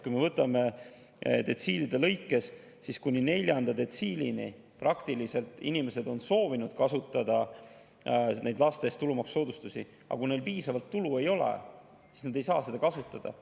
Kui me võtame detsiilide lõikes, siis kuni neljanda detsiilini inimesed on soovinud kasutada laste eest tulumaksusoodustust, aga kui neil piisavalt tulu ei ole, siis nad ei saa seda kasutada.